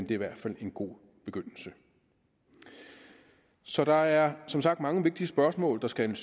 i hvert fald en god begyndelse så der er som sagt mange vigtige spørgsmål der skal